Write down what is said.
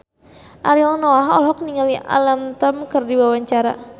Ariel Noah olohok ningali Alam Tam keur diwawancara